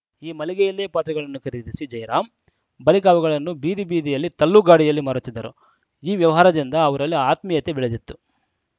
ಈ ಮಳಿಗೆಯಲ್ಲೇ ಪಾತ್ರೆಗಳನ್ನು ಖರೀದಿಸಿ ಜಯರಾಂ ಬಳಿಕ ಅವುಗಳನ್ನು ಬೀದಿಬೀದಿಯಲ್ಲಿ ತಳ್ಳುಗಾಡಿಯಲ್ಲಿ ಮಾರುತ್ತಿದ್ದರು ಈ ವ್ಯವಹಾರದಿಂದ ಅವರಲ್ಲಿ ಆತ್ಮೀಯತೆ ಬೆಳೆದಿತ್ತು